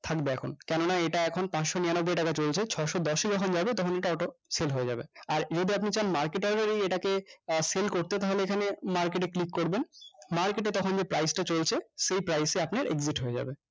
থাকবে এখন কেননা এটা এখন পাঁচশ নিরানব্বই টাকা চলছে ছশো দশে যখন যাবে তখন এটা auto sell হয়ে যাবে আর যদি আপনি চান market hour এই এটাকে আহ sell করতে তাহলে এখানে market এ click করবেন market তখন যে price টা চলছে সেই price এ আপনার exit হয়ে যাবে